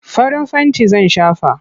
Farin fenti zan shafa.